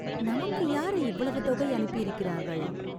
நமக்கு யாரு இவ்வளவு தொகை அனுப்பியிருக்கிறார்கள்!